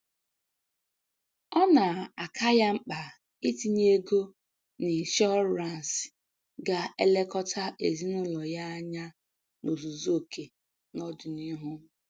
Ọ na-aka ya mkpa itinye ego n'ịshọransị ga-elekọta ezinụlọ ya anya n'ozuzu oke n'ọdịnihu